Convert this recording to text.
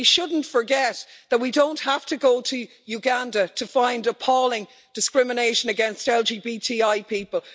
We shouldn't forget that we don't have to go to Uganda to find appalling discrimination against LGBTI people.